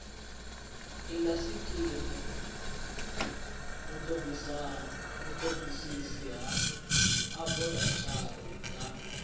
indasiteri vhutodisisi ha aborathari na